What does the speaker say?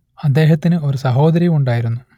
അദ്ദേഹത്തിന് ഒരു സഹോദരിയും ഉണ്ടായിരുന്നു